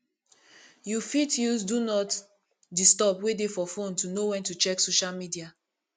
you fit use do not disturb wey dey for phone to know when to check social media